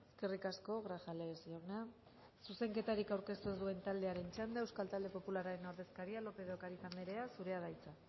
eskerrik asko grajales jauna zuzenketarik aurkeztu ez duen taldearen txanda euskal talde popularraren ordezkaria lópez de ocariz andrea zurea da hitza